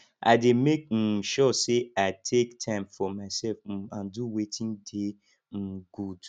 i dey make um sure say i take time for myself um and do wetin dey um good